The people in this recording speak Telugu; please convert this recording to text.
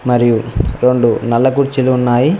మరియు రొండు నల్ల కుర్చీలు ఉన్నాయి.